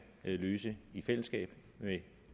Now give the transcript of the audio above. løse i fællesskab med